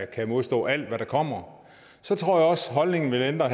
kan modstå alt hvad der kommer så tror jeg også at holdningen vil ændre